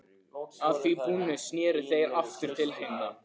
Að því búnu sneru þeir aftur til hinna.